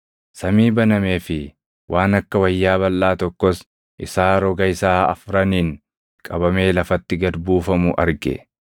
Samii banamee fi waan akka wayyaa balʼaa tokkos isaa roga isaa afraniin qabamee lafatti gad buufamu arge.